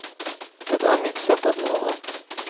Det är mitt sätt att vara.